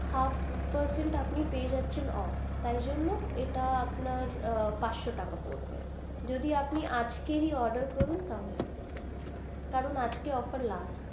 Half percent আপনি পেয়ে যাচ্ছেন অফ তাই জন্য এটা আপনার পাঁচশো টাকা পড়বে যদি আপনি আজ কেই order করুন তাহলে কারণ আজকেই offer last.